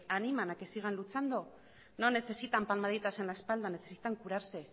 animan a que sigan luchando no necesitan palmaditas en la espalda necesitan curarse